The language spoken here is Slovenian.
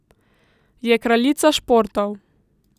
Je kraljica športov.